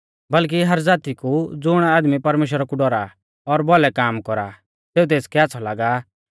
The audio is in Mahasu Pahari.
बल्कि हर ज़ाती कु ज़ुण आदमी परमेश्‍वरा कु डौरा और भौलै काम कौरा सेऊ तेसकै आच़्छ़ौ लागा